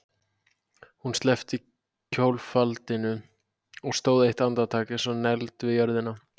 Hún sleppti kjólfaldinum og stóð eitt andartak eins og negld við jörðina.